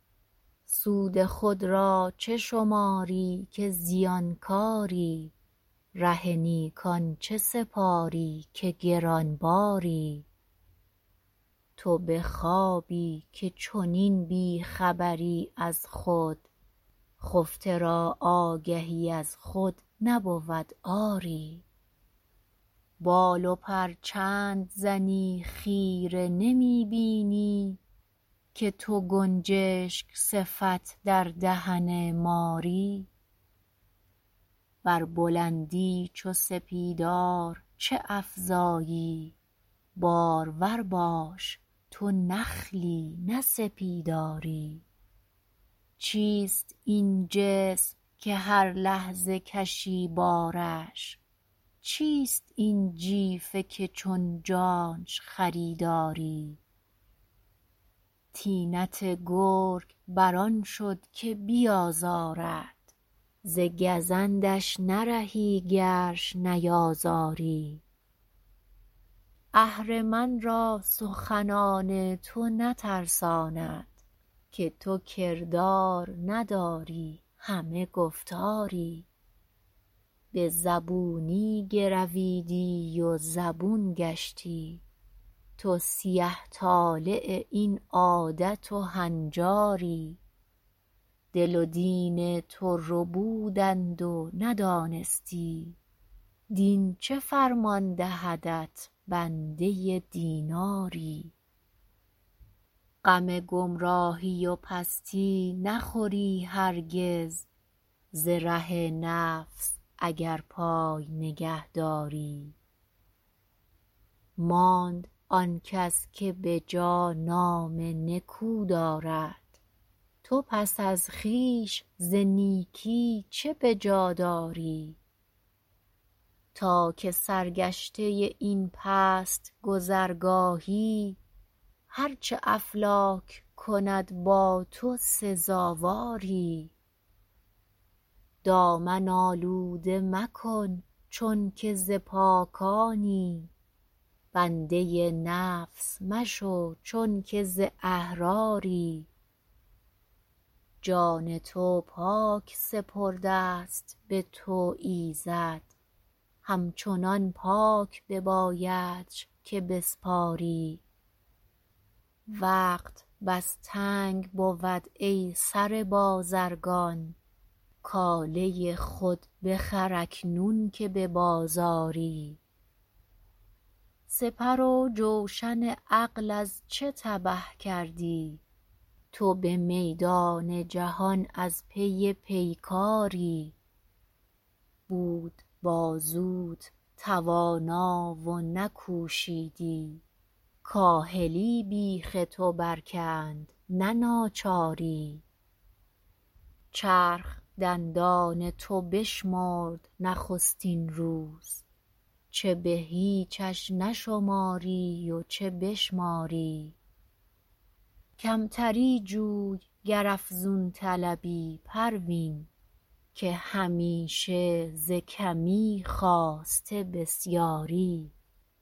سود خود را چه شماری که زیانکاری ره نیکان چه سپاری که گرانباری تو به خوابی که چنین بیخبری از خود خفته را آگهی از خود نبود آری بال و پر چند زنی خیره نمی بینی که تو گنجشک صفت در دهن ماری بر بلندی چو سپیدار چه افزایی بارور باش تو نخلی نه سپیداری چیست این جسم که هر لحظه کشی بارش چیست این جیفه که چون جانش خریداری طینت گرگ بر آن شد که بیازارد ز گزندش نرهی گرش نیازاری اهرمن را سخنان تو نترساند که تو کردار نداری همه گفتاری بزبونی گرویدی و زبون گشتی تو سیه طالع این عادت و هنجاری دل و دین تو ربودند و ندانستی دین چه فرمان دهدت بنده دیناری غم گمراهی و پستی نخوری هرگز ز ره نفس اگر پای نگهداری ماند آنکس که بجا نام نکو دارد تو پس از خویش ز نیکی چه بجا داری تا که سرگشته این پست گذرگاهی هر چه افلاک کند با تو سزاواری دامن آلوده مکن چونکه ز پاکانی بنده نفس مشو چونکه ز احراری جان تو پاک سپردست بتو ایزد همچنان پاک ببایدش که بسپاری وقت بس تنگ بود ای سره بازرگان کاله خود بخر اکنون که ببازاری سپرو جوشن عقل از چه تبه کردی تو بمیدان جهان از پی پیکاری بود بازوت توانا و نکوشیدی کاهلی بیخ تو بر کند نه ناچاری چرخ دندان تو بشمرد نخستین روز چه بهیچش نشماری و چه بشماری کمتری جوی گر افزون طلبی پروین که همیشه ز کمی خاسته بسیاری